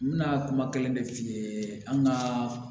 N bɛna kuma kelen de f'i ye an ka